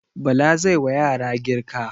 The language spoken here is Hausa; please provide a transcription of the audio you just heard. Bala zai wa yara girka.